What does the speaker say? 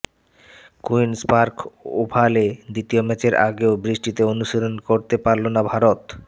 queen's Park ওভালে দ্বিতীয় ম্যাচের আগেও বৃষ্টিতে অনুশীলন করতে পারল না ভারত